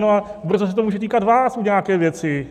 No a brzo se to může týkat vás u nějaké věci.